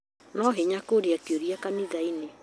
Ni hinya kũria kĩũria kanitha-inĩ